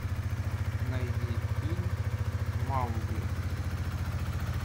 найди фильм маугли